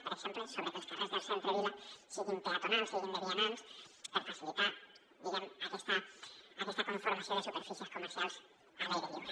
per exemple sobre que els carrers del centre vila siguin de vianants per facilitar diguem ne aquesta conformació de superfícies comercials a l’aire lliure